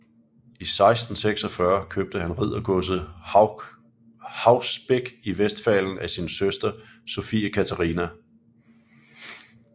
I 1646 købte han riddergodset Haus Beck i Westfalen af sin søster Sophie Katharina